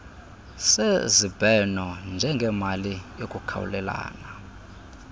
sezibheno njengemali yokukhawulelana